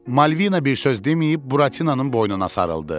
Malvina bir söz deməyib Buratinanın boynuna sarıldı.